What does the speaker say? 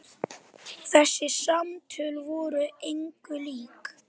Þessi samtöl voru engu lík.